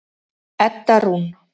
Edda Rún.